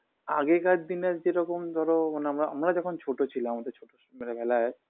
আগেকার দিনে যেরকম ধরো মানে আমরা আমরা যখন ছোট ছিলাম আমাদের ছোটো সময় বেলায়